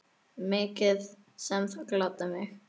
Mikið sem það gladdi mig.